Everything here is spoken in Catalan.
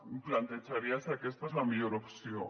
em plantejaria si aquesta és la millor opció